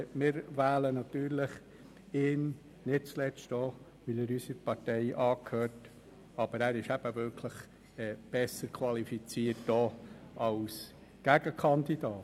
Wir wählen natürlich ihn, nicht zuletzt auch, weil er unserer Partei angehört, aber er ist wirklich besser qualifiziert als die Gegenkandidaten.